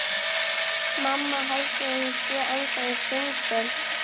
Mamma heldur að ég sé ennþá í sundi.